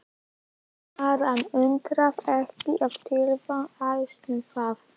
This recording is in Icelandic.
Ara undraði ekki að tíðindin æstu þá.